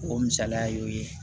O misaliya y'o ye